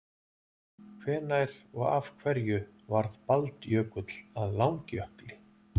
hvenær og af hverju varð baldjökull að langjökli